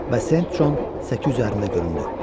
Bəs Sent Con səki üzərində göründü.